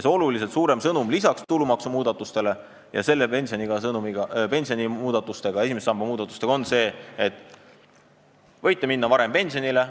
See oluliselt suurem sõnum, lisaks tulumaksumuudatustele ja pensioni esimese samba muudatustele, on see, et võib minna varem pensionile.